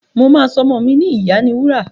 Mà á so ọmọ mi ni ìyániwúrà.